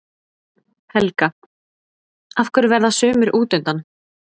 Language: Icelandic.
Helga: Af hverju verða sumir útundan?